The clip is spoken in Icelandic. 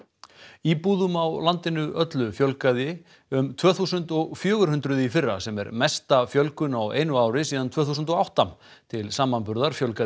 íbúðum á landinu öllu fjölgaði um tvö þúsund og fjögur hundruð í fyrra sem er mesta fjölgun á einu ári síðan tvö þúsund og átta til samanburðar fjölgaði